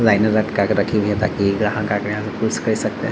लाइने लटका के रखी गयी है ताकि ग्राहक आ के यहाँ से खुद से खरीद सकते हैं |